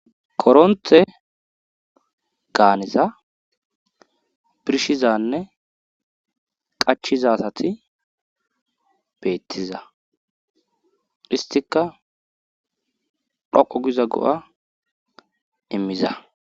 koronthe gaaniza birshizanne qachiza asati beettiza histika dhoqu giza go7a immiza